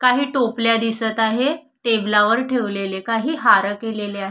काही टोपल्या दिसत आहे टेबलावर ठेवलेले काही हार केलेले आहे.